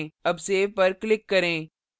अब save पर click करें